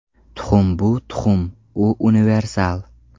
Tuxum bu tuxum, u universal”.